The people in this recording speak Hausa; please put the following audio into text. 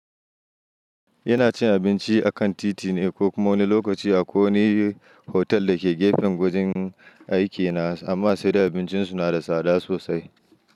Ina cin abinci a kan titi ne ko wanj lokaci akwai hotel da ke gefen wajen aikina, amma abincin su na da tsada sosaai.